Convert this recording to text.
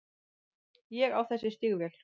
Ég á þessi stígvél.